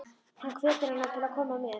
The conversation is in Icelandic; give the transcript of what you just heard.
Hann hvetur hana til að koma með.